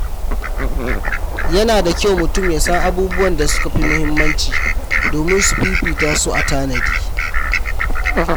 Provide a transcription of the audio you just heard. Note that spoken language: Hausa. Yana da kyau mutum ya san abubuwan da suka fi muhimmanci domin su fifita su a tanadi.